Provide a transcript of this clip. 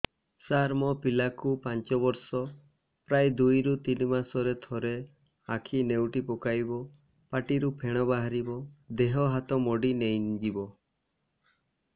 ସାର ମୋ ପିଲା କୁ ପାଞ୍ଚ ବର୍ଷ ପ୍ରାୟ ଦୁଇରୁ ତିନି ମାସ ରେ ଥରେ ଆଖି ନେଉଟି ପକାଇବ ପାଟିରୁ ଫେଣ ବାହାରିବ ଦେହ ହାତ ମୋଡି ନେଇଯିବ